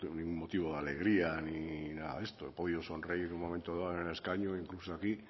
ningún motivo de alegría ni nada de esto he podido sonreír en un momento dado en el escaño o incluso aquí